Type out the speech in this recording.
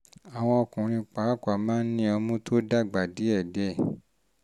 àwọn ọkùnrin pàápàá máa ń ní ọmú tó ń dàgbà díẹ̀díẹ̀